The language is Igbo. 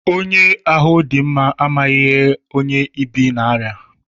Onye amụ̀ dị mma amaghị ihe onye ibì n'arịa.